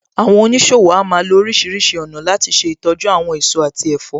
Àwọn oníṣòwò a máa lo oríṣìíríṣìí ọ̀nà láti ṣe ìtọ́jú àwọn èso àti ẹ̀fọ́.